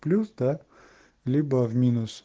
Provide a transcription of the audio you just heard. плюс да либо в минус